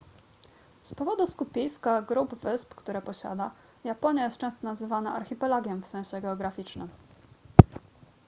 z powodu skupiska / grup wysp które posiada japonia jest często nazywana archipelagiem w sensie geograficznym